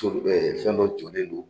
So fɛn dɔ jɔlen don.